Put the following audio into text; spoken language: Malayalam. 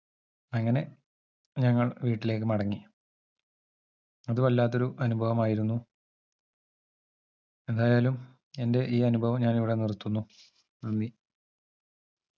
അങ്ങനെ ഞങ്ങൾ വീട്ടിലേക്ക് മടങ്ങി അതുവല്ലാത്തൊരു അനുഭവമായിരുന്നു എന്തായാലും എന്റെ ഈ അനുഭവം ഞാൻ ഇവിടെ നിർത്തുന്നു നന്ദി